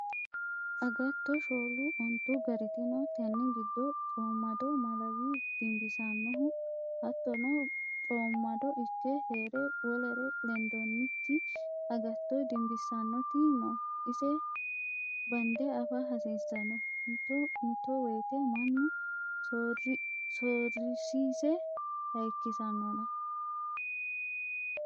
Agatto shoolu ontu gariti no tene giddo coomado malawi dimbisanohu hattono coomado ikke heere wolere lendonnikki agatto dimbisanoti no ise bande afa hasiisano, mitto mitto woyte mannu sorisiise hayikkisanonna.